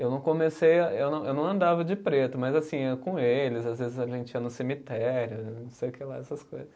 Eu não comecei a, eu não eu não andava de preto, mas assim, ia com eles, às vezes a gente ia no cemitério, não sei o que lá, essas coisas.